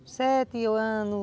sete